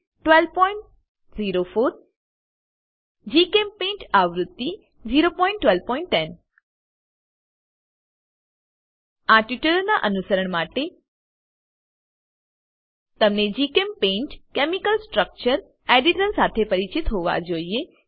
1204 GChemPaint આવૃત્તિ 01210 આ ટ્યુટોરીયલનાં અનુસરણ માટે તમે જીચેમ્પેઇન્ટ કેમિકલ સ્ટ્રક્ચર એડિટર સાથે પરિચિત હોવા જોઈએ